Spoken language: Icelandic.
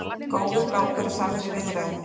Góður gangur er sagður í viðræðunum